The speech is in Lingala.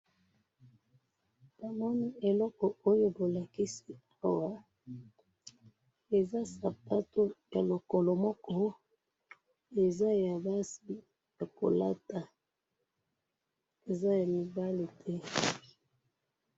Na moni lokolo moko ya sapato ya motane.